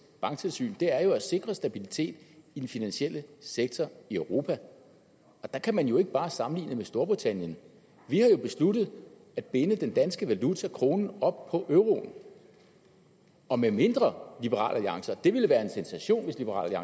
banktilsyn er jo at sikre stabiliteten i den finansielle sektor i europa der kan man jo ikke bare sammenligne os med storbritannien vi har jo besluttet at binde den danske valuta kronen op på euroen og medmindre liberal alliance og det ville være en sensation hvis liberal